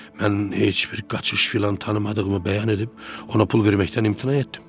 Mən heç bir qaçış filan tanımadığımı bəyan edib ona pul verməkdən imtina etdim.